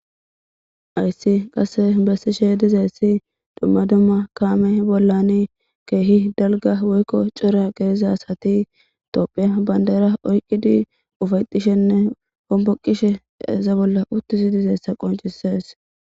Hayssi qase bessishe dizeessi dumma dumma kaame bollani keehi dalga woykko cora geezasati toophiya bandaera oyqqidi ufaytishenne omboqishe eza bolla uttisi dizeessa qoncisees.